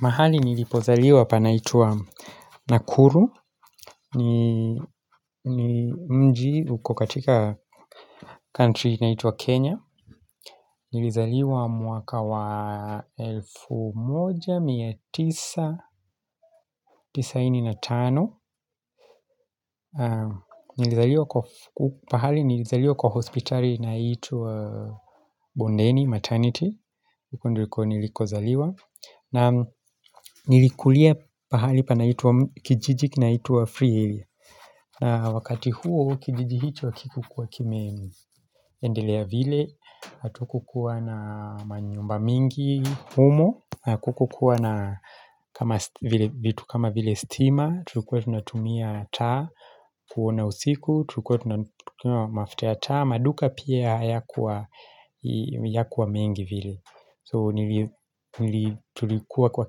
Mahali nilipozaliwa panaitwa Nakuru, mji uko katika country inaituwa Kenya, nilizaliwa mwaka wa 1995, nilizaliwa kwa hospitali inaitwa Bondeni, maternity, nilikozaliwa. Na nilikulia pahali kijiji kinaitwo free area na wakati huo kijiji hicho akikukuwa kimeendelea vile Atukukuwa na manyumba mingi humo Atukukuwa na vitu kama vile stima Tulikuwa tunatumia taa kuona usiku Tulikuwa tunatumia mafta taa maduka pia ya kuwa mengi vile So nilitulikuwa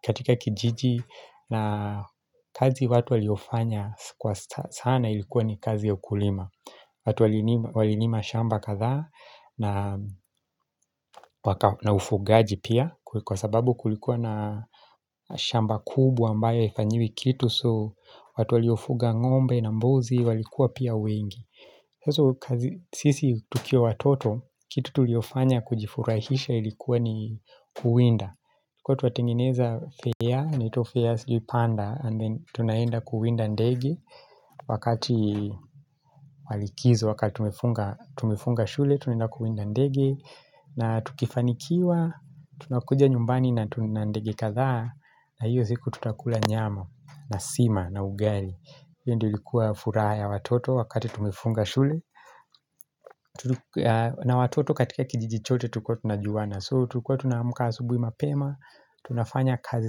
katika kijiji na kazi watu waliofanya kwa sana ilikuwa ni kazi ya ukulima watu walinima shamba kadhaa na ufugaji pia Kwa sababu kulikuwa na shamba kubwa ambayo ifanyiwi kitu So watu waliofuga ngombe na mbozi walikuwa pia wengi sisi tukiwa watoto kitu tuliofanya kujifurahisha ilikuwa ni kuwinda Kwa tuwatengeneza fair, anaitwo fairs si panda and then tunaenda kuwinda ndegi Wakati wa likizo, wakati tumefunga shule, tunaenda kuwinda ndege na tukifanikiwa, tunakuja nyumbani na tuna ndegi kadhaa na hiyo ziku tutakula nyama na sima na ugari hiyo ndio ilikuwa furaha ya watoto wakati tumefunga shule na watoto katika kijiji chote tukotu na juwana So, tukuwa tunaamuka asubui mapema, tunafanya kazi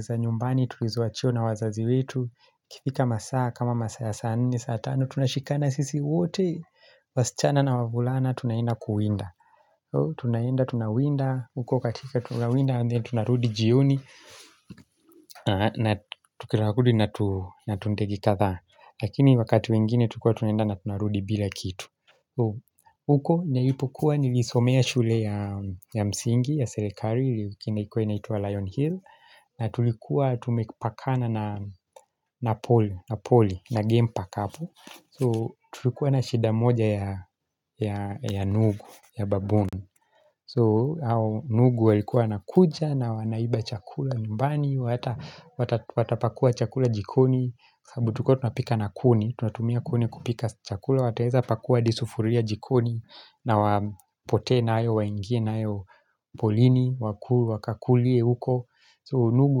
za nyumbani, tulizoachio na wazazi wetu Kifika masaa, kama masaa ya saa nne, saa tano, tunashikana sisi wote wasichana na wavulana, tunaenda kuwinda Tunaenda, tunawinda, huko katika tunawinda, and then tunarudi jioni na tukiragudi na tuntegi katha Lakini wakati wengine, tukuwa tunenda na tunarudi bila kitu So, huko njailipu kuwa nilisomea shule ya msingi, ya serekari, kina ikuwe naituwa Lion Hill na tulikuwa tumepakana na poli, na game park apo So, tulikuwa na shida moja ya nugu, ya baboon So, nugu walikuwa wanakuja na wanaiba chakula nyumbani Watapakua chakula jikoni, sabutuko tunapika na kuni Tunatumia kuni kupika chakula wateza pakuwa adi sufuria jikoni na wapotee nayo waingie nayo polini wakakulie uko. So nugu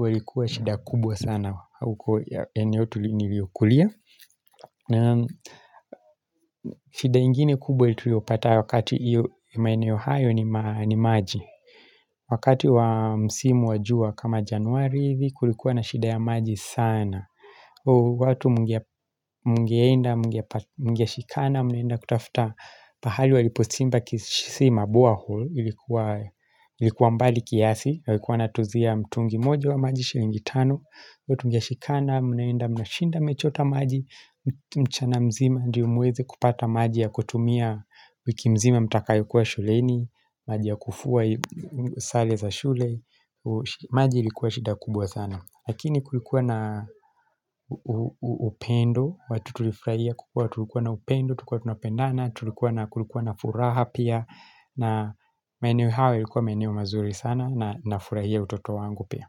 walikua shida kubwa sana uko ya eneo tulini liokulia. Shida ingine kubwa itulio pata wakati iyo maeneo hayo ni maji. Wakati wa msimu wa jua kama januari hivi kulikuwa na shida ya maji sana. Watu mgeenda, mgeshikana, mnaenda kutafuta pahali waliposimba kisima bore ilikuwa mbali kiasi yalikuwa natuzia mtungi moja wa maji shilingi tano watu tungeshikana, mnaenda mnashinda mmechota maji mchana mzima ndio muweze kupata maji ya kutumia wiki mzima mtakayokua shuleni maji ya kufua sale za shule maji ilikuwa shida kubwa sana Lakini kulikuwa na upendo, watu tulifraia kukua tulikuwa na upendo, tulikuwa tunapendana, tulikuwa na furaha pia na maeneo hayo yalikuwa maeneo mazuri sana na nafurahia utoto wangu pia.